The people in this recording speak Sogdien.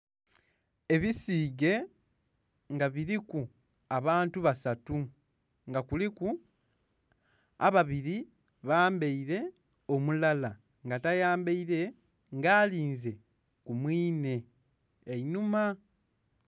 Ebisige nga biriku abantu basatu nga kuliku ababiri bambeire, omulala nga tayambeire nga alinze kumwinhe einhuma.